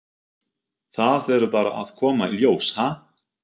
Það verður bara að koma í ljós, ha?